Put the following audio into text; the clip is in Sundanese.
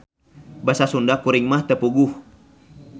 Basa sunda kuring mah teu puguh.